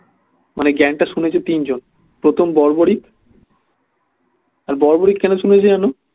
মানে জ্ঞান টা শুনেছে তিনজন প্রথম বড়বড়ি আর বড়বড়ি কেন শুনেছে জানো